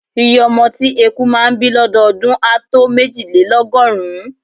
Iye ọmọ tí eku máà ń bí lọ́dọọdún á tó méjìlélọ́gọ́rùn-ún.